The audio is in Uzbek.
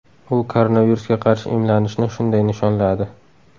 U koronavirusga qarshi emlanishni shunday nishonladi .